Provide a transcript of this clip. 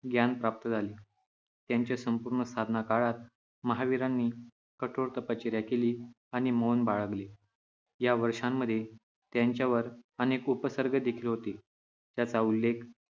ज्ञान प्राप्त झाले. त्यांच्या संपूर्ण साधना काळात महावीरांनी कठोर तपश्चर्या केली आणि मौन बाळगले. या वर्षांमध्ये त्याच्यावर अनेक उपसर्ग देखील होते, ज्याचा उल्लेख